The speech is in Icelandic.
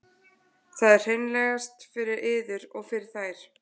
Það er hreinlegast fyrir yður og fyrir þær.